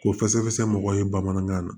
Ko fɛsɛfɛsɛ mɔgɔw ye bamanankan na